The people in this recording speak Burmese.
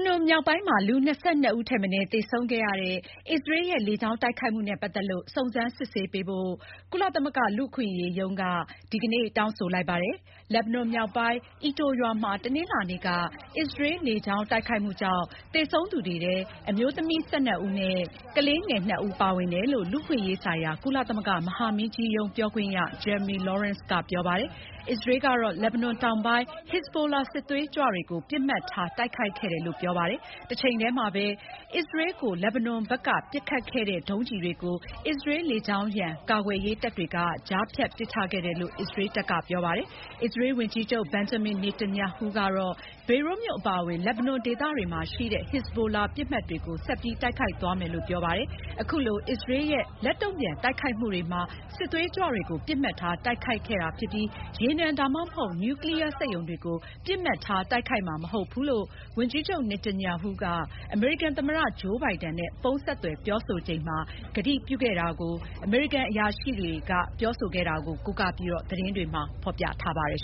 နွန်မြောက်ပိုင်းမှာ လူ ၂၂ ဦးထက်မနည်း သေဆုံးခဲ့ရတဲ့ အစ္စရေးရဲ့ လေကြောင်း တိုက်ခိုက်မှုနဲ့ ပတ်သက်ပြီး စုံစမ်းစစ်ဆေးပေးဖို့ ကုလသမဂ္ဂ လူ့အခွင့်အရေးရုံးက ဒီကနေ့ တောင်းဆိုလိုက်ပါတယ်။ လက်ဘနွန်မြောက်ပိုင်း Aito ရွာမှာ တနင်္လာနေ့က အစ္စရေးလေကြောင်း တိုက်ခိုက်မှုကြောင့် သေဆုံးသူတွေထဲ အမျိုးသမီး ၁၂ ဦးနဲ့ ကလေးငယ် ၂ ဦး ပါဝင်တယ်လို့ လူ့အခွင့်အရေးဆိုင်ရာ ကုလသမဂ္ဂ မဟာမင်းကြီးရုံး ပြောခွင့်ရ Jeremy Laurence က ပြောပါတယ်။ အစ္စရေးကတော့ လက်ဘနွန်တောင်ပိုင်း ဟက်ဇ်ဘိုလာ စစ်သွေးကြွတွေကို ပစ်မှတ်ထား တိုက်ခိုက်ခဲ့တယ်လို့ ပြောပါတယ်။ တချိန်တည်းမှာပဲ အင်္ဂါနေ့ အစ္စရေးကို လက်ဘနွန်ဘက်က ပစ်ခတ်ခဲ့တဲ့ ဒုံးကျည်တွေကို အစ္စရေးလေကြောင်းရန် ကာကွယ်ရေးတပ်တွေက ကြားဖြတ် ပစ်ချခဲ့တယ်လို့ အစ္စရေးတပ်က ပြောပါတယ်။ အစ္စရေး ဝန်ကြီးချုပ် Benjamin Netanyahu ကတော့ ဘေရွတ်မြို့အပါအဝင် လက်ဘနွန် ဒေသတွေမှာရှိတဲ့ ဟက်ဇ်ဘိုလာ ပစ်မှတ်တွေကို ဆက်ပြီး တိုက်ခိုက်သွားမယ်လို့ ပြောဆိုပါတယ်။ အခုလို အစ္စရေးရဲ့ လက်တုံ့ပြန် တိုက်ခိုက်မှုတွေမှာ စစ်သွေးကြွတွေကို ပစ်မှတ်ထား တိုက်ခိုက်တာဖြစ်ပြီး ရေနံ ဒါမှမဟုတ် နျူကလီးယားစက်ရုံတွေကို ပစ်မှတ်ထား တိုက်ခိုက်မှာ မဟုတ်ဘူးလို့ ဝန်ကြီးချုပ် Netanyahu က အမေရိကန် သမ္မတ Joe Biden နဲ့ ဖုန်းဆက်သွယ် ကတိပြုခဲ့တာကိုလည်း အမေရိကန်အရာရှိတွေကို ကိုးကားပြီး သတင်းတွေက ဖော်ပြပါတယ်